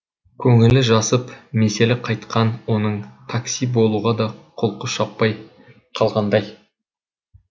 көңілі жасып меселі қайтқан оның такси болуға да құлқы шаппай қалғандай